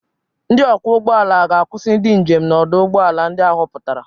Ndị ọkwọ ụgbọ ala ga-akwusi ndị njem n'ọdụ ụgbọ ala ndị a họpụtara.